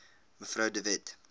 mev de wet